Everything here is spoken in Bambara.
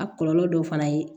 A kɔlɔlɔ dɔw fana ye